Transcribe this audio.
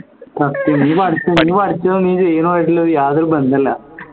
സത്യം നീ പഠിച്ചതും നീ ചെയ്യുന്നതും ആയിട്ടുള്ള യാതൊരു ബന്ധവുമില്ല